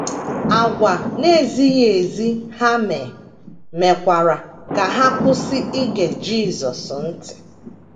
Àgwà na - ezi ezi ha mee mekwara ka ha kwụsị ige Jisọs ntị.